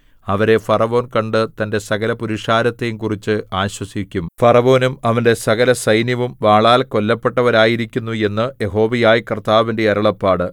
അവരെ ഫറവോൻ കണ്ട് തന്റെ സകലപുരുഷാരത്തെയും കുറിച്ച് ആശ്വസിക്കും ഫറവോനും അവന്റെ സകലസൈന്യവും വാളാൽ കൊല്ലപ്പെട്ടവരായിരിക്കുന്നു എന്ന് യഹോവയായ കർത്താവിന്റെ അരുളപ്പാട്